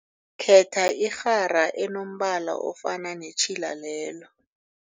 Khetha irhara enombala ofana netjhila lelo.